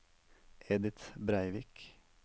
Edith Breivik